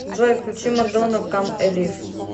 джой включи мадонна кам элив